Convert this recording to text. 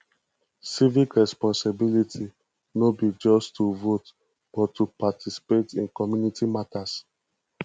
civic responsibility no be just to vote but to participate in community matters